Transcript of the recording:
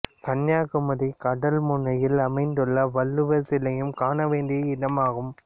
கன்னியாகுமரி கடல் முனையில் அமைந்துள்ள வள்ளுவர் சிலையும் காண வேண்டிய இடமாகும்